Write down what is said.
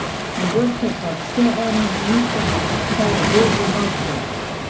Mogoče pa vseeno nista, saj je bil v mavcu.